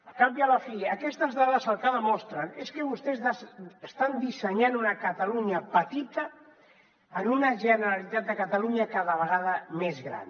al cap i a la fi aquestes dades el que demostren és que vostès estan dissenyant una catalunya petita en una generalitat de catalunya cada vegada més gran